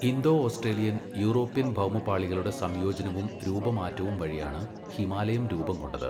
Indo Australian, Eurasian ഭൗമപാളികളുടെ സംയോജനവും രൂപമാറ്റവും വഴിയാണ് ഹിമാലയം രൂപം കൊണ്ടത്.